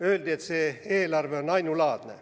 Öeldi, et see eelarve on ainulaadne.